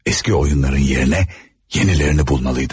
Eski oyunların yerine yenilerini bulmalıydım.